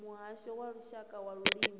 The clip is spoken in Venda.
muhasho wa lushaka wa vhulimi